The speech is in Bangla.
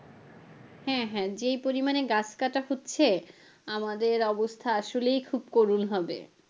হ্যাঁ হ্যাঁ যেই পরিমানে গাছ কাটা হচ্ছে আমাদের অবস্থা আসলেই খুব করুন হবে।